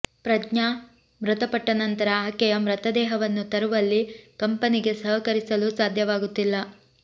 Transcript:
ಪ್ರಜ್ಞಾ ಮೃತಪಟ್ಟ ನಂತರ ಆಕೆಯ ಮೃತದೇಹವನ್ನು ತರುವಲ್ಲಿ ಕಂಪನಿಗೆ ಸಹಕರಿಸಲು ಸಾಧ್ಯವಾಗುತ್ತಿಲ್ಲ